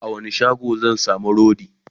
a wani shago zan samu rodi?